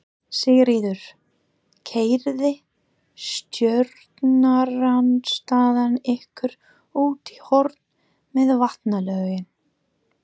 Sigríður: Keyrði stjórnarandstaðan ykkur út í horn með vatnalögin?